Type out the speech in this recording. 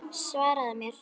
Svaraðu mér!